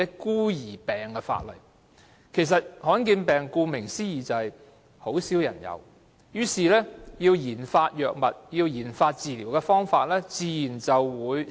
顧名思義，罕見疾病便是很少人患上的病，因此研發藥物或治療方法的工作也自然少。